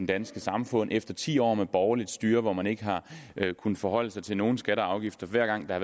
danske samfund efter ti år med borgerligt styre hvor man ikke har kunnet forholde sig til nogen skatter og afgifter hver gang der